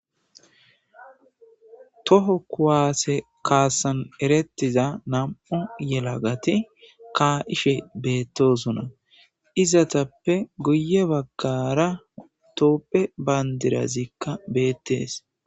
Toho kuwaase kaasan erettiza nam'o yelagati kaa'ishe beettosona izatappe guye baggara tooppe bayndirazikka beettees